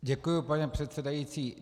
Děkuji, pane předsedající.